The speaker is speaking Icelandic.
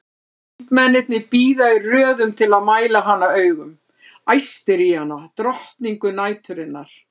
Karlmennirnir bíða í röðum til að mæla hana augum, æstir í hana, drottningu næturinnar!